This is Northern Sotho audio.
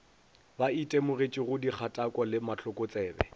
ba itemogetšego dikgatako le mahlokotsebe